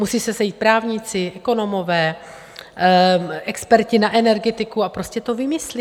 Musí se sejít právníci, ekonomové, experti na energetiku a prostě to vymyslí.